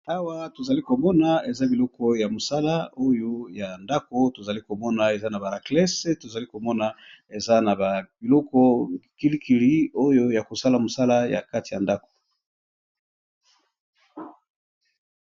Awa tozali komona eza biloko ya mosala, oyo ya ndako tozali komona eza na baraklese tozali komona eza na babiloko kilikili oyo ya kosala mosala ya kati ya ndako.